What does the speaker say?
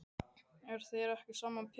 En þér er ekki sama Pétur.